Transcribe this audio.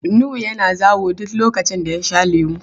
Nuhu yana zawo duk lokacin da ya sha lemu.